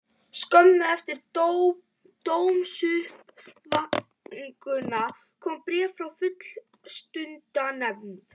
Skömmu eftir dómsuppkvaðninguna kom bréf frá Fullnustumatsnefnd.